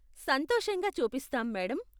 సంతోషంగా చూపిస్తాం, మేడమ్.